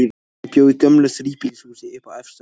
Hann bjó í gömlu þríbýlishúsi, uppi á efstu hæð.